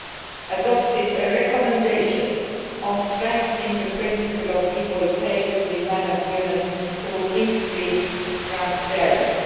We adopted a recommendation on strengthening the principle of equal pay between men and women through increased transparency.